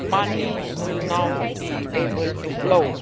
Money will now be able to flow.